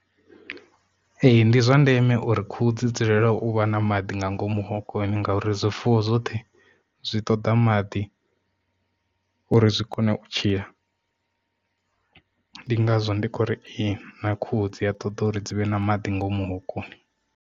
Ee ndi zwa ndeme uri khuhu dzi dzulela u vha na maḓi nga ngomu hokoni ngauri zwifuwo zwoṱhe zwi ṱoda maḓi, uri zwi kone u tshila ndi ngazwo ndi khou ri ee na khuhu dzi a ṱoḓa uri dzi vhe na maḓi ngomu hokoni.